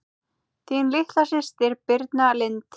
Þín litla systir Birna Lind.